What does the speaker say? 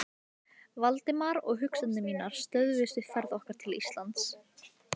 Valdimar, og hugsanir mínar stöðvuðust við ferð okkar til Íslands.